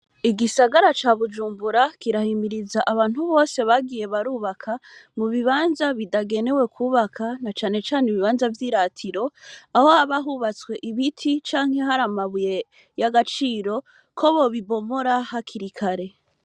Igisagara ca Bujumbura, kirahimiriza abantu bose bagiye bubaka mu bibanza bitagenewe kwubaka, na cane cane ibibanza vy'iratiro, aho haba hubatswe ibiti canke hari amabuye y' agaciro, ko bobibomora hakiri kare.